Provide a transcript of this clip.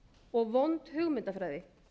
og vond hugmyndafræði